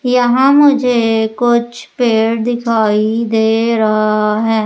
यहां मुझे कुछ पेड़ दिखाई दे रहा है।